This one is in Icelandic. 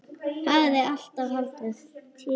Hafði alltaf haldið.